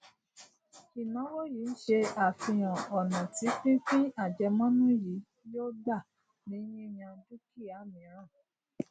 ìnáwó yìí n ṣe àfihàn ònà tí pípín àjẹmónú yìí yòó gbà ní yíyan dúkìá míràn